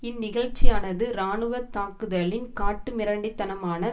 இந்நிகழ்ச்சியானது இராணுவ தாக்குதலின் காட்டுமிராண்டி தனமான